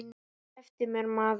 Slepptu mér maður.